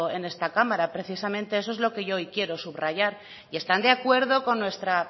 en esta cámara precisamente eso es lo que yo hoy quiero subrayar y están de acuerdo con nuestra